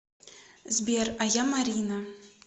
сбер а я марина